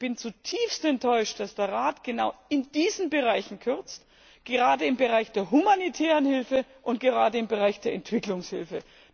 Ich bin zutiefst enttäuscht, dass der Rat genau in diesen Bereichen kürzt, gerade im Bereich der humanitären Hilfe und gerade im Bereich der Entwicklungshilfe.